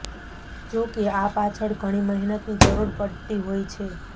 જોકે આ પાછળ ઘણી મહેનતની જરૂર પડતી હોય છે